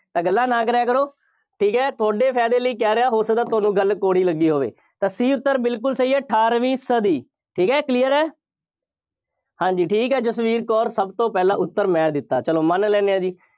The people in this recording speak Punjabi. ਤਾਂ ਗੱਲਾਂ ਨਾ ਕਰਿਆ ਕਰੋ। ਠੀਕ ਹੈ, ਤੁਹਾਡੇ ਫਾਇਦੇ ਲਈ ਕਹਿ ਰਿਹਾ, ਹੋ ਸਕਦਾ ਤੁਹਾਨੂੰ ਗੱਲ ਕੌੜੀ ਲੱਗੀ ਹੋਵੇ। ਤਾਂ C ਉੱਤਰ ਬਿਲਕੁੱਲ ਸਹੀ ਹੈ। ਅਠਾਰਵੀਂ ਸਦੀ, ਠੀਕ ਹੈ, clear ਹੈ। ਹਾਂ ਜੀ ਠੀਕ ਹੈ, ਜਸਵੀਰ ਕੌਰ, ਸਭ ਤੋਂ ਪਹਿਲਾਂ ਉੱਤਰ ਮੈਂ ਦਿੱਤਾ, ਚੱਲੋ ਮੰਨ ਲੈਂਦੇ ਹਾਂ ਜੀ।